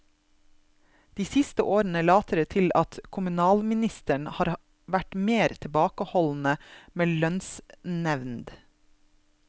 De siste årene later det til at kommunalministrene har vært mer tilbakeholdne med lønnsnevnd.